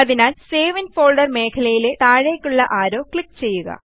അതിനാൽSave in folder മേഖലയിലെ താഴേയ്ക്കുള്ള arrow click ചെയ്യുക